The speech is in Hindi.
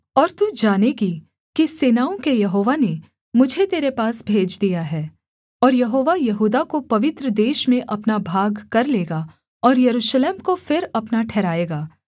और तू जानेगी कि सेनाओं के यहोवा ने मुझे तेरे पास भेज दिया है और यहोवा यहूदा को पवित्र देश में अपना भागकर लेगा और यरूशलेम को फिर अपना ठहराएगा